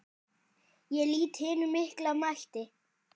Ég lýt hinum mikla mætti.